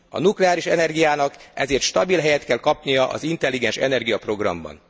A nukleáris energiának ezért stabil helyet kell kapnia az Intelligens energia programban.